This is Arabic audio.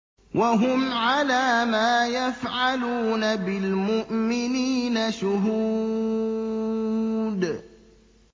وَهُمْ عَلَىٰ مَا يَفْعَلُونَ بِالْمُؤْمِنِينَ شُهُودٌ